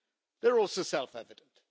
they're also self evident.